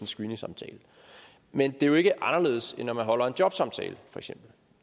screeningsamtale men det er jo ikke anderledes end når man holder en jobsamtale